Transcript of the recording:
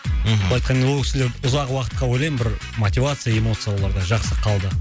мхм былай айтқанда ол кісілер ұзақ уақытқа ойлаймын бір мотивация эмоцияларда жақсы қалды